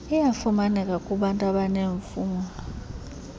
iyafumaneka kubantu abaneemfuno